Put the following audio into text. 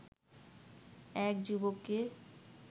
এক যুবককে